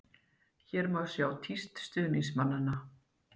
Hér má sjá tíst stuðningsmannanna.